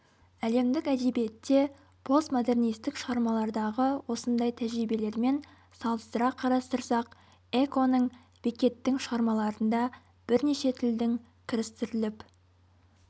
әлемдік әдебиетте постмодернистік шығармалардағы осындай тәжірибелермен салыстыра қарастырсақ эконың беккеттің шығармаларында бірнеше тілдің кірістіріліп